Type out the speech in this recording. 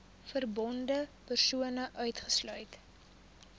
verbonde persone uitgesluit